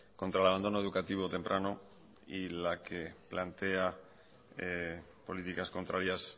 contra el abandono educativo temprano y la que plantea políticas contrarias